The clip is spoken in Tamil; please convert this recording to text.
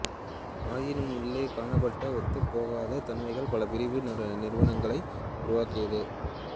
ஆயினும் உள்ளே காணப்பட்ட ஒத்துப் போகாத தன்மைகள் பல பிரிவு நிறுவனங்களை உருவாக்கியது